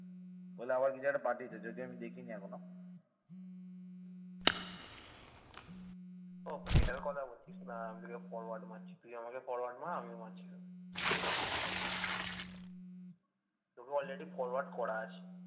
তোকে already forward করা আছে ।